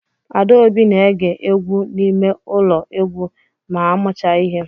Adaobi na-ege egwu n'ime ụlọ egwu ma a mucha ihe